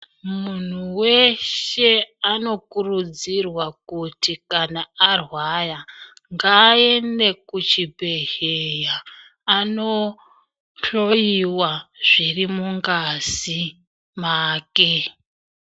Munhu weshe anokurudzirwa kuti kana arwaya ngaaende kuchibhedhleya andohloyiwa zviri mungazi make .